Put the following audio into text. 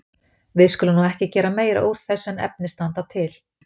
Við skulum nú ekki gera meira úr þessu en efni standa til.